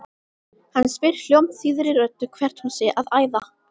Hann spyr hljómþýðri röddu hvert hún sé að æða.